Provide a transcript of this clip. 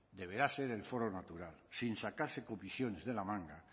deberá ser el foro natural sin sacarse comisiones de la manga